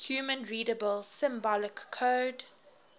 human readable symbolic code